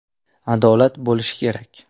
Adolat bo‘lishi kerak!